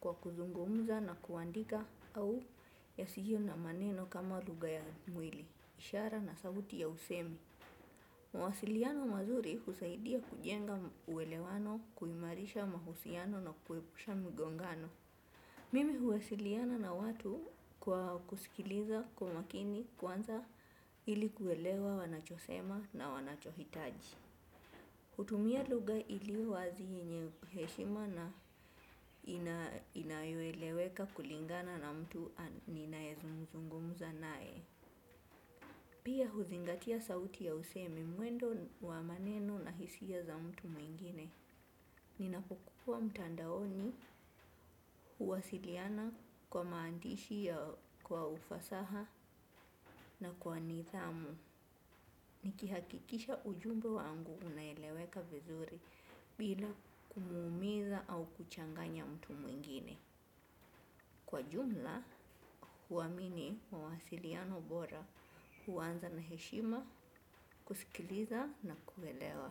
kwa kuzungumza na kuandika au yasiyo na maneno kama lugha ya mwili, ishara na sauti ya usemi. Mawasiliano mazuri husaidia kujenga uelewano, kuimarisha mahusiano na kuepusha mgongano. Mimi huwasiliana na watu kwa kusikiliza kwa makini kwanza ili kuelewa wanacho sema na wanacho hitaji hutumia lugha iliyo wazi yenye heshima na inayo eleweka kulingana na mtu ninaye zungumza naye. Pia huzingatia sauti ya usemi, mwendo wa maneno na hisia za mtu mwingine. Ninapokua mtandaoni huwasiliana kwa maandishi ya kwa ufasaha na kwa nidhamu. Nikihakikisha ujumbe wangu unaeleweka vizuri bila kumuumiza au kuchanganya mtu mwingine. Kwa jumla, huamini mawasiliano bora huanza na heshima, kusikiliza na kuelewa.